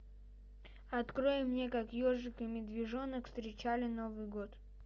открой мне как ежик и медвежонок встречали новый год